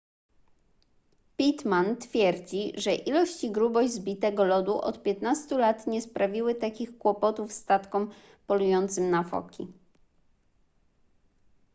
pittman twierdzi że ilość i grubość zbitego lodu od 15 lat nie sprawiły takich kłopotów statkom polującym na foki